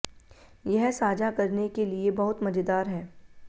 यह साझा करने के लिए बहुत मजेदार है